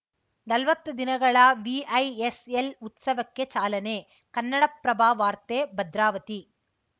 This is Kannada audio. ನಲ್ವತ್ತು ದಿನಗಳ ವಿಐಎಸ್‌ಎಲ್‌ ಉತ್ಸವಕ್ಕೆ ಚಾಲನೆ ಕನ್ನಡಪ್ರಭ ವಾರ್ತೆ ಭದ್ರಾವತಿ